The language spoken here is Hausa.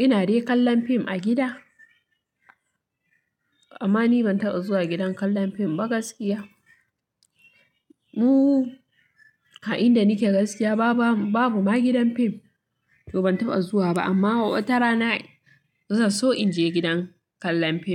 Ina dai kallon fim a gida. Amma ni ban taɓa zuwa gidan kallon fim ba gaskiya. Mu, a inda nike gaskiya babu ma gidan fim, to ban taɓa zuwa ba. Amma watarana zai zo in je gidan kallon fim.